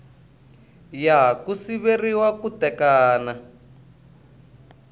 ya ku siveriwa ku tekana